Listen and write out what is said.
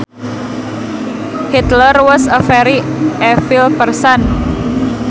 Hitler was a very evil person